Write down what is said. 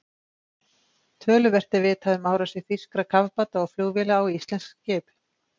Töluvert er vitað um árásir þýskra kafbáta og flugvéla á íslensk skip.